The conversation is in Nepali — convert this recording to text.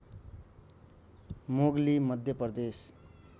मोगली मध्य प्रदेश